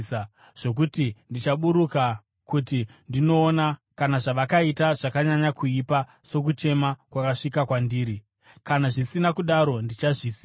zvokuti ndichaburuka kuti ndinoona kana zvavakaita zvakanyanya kuipa sokuchema kwakasvika kwandiri. Kana zvisina kudaro, ndichazviziva.”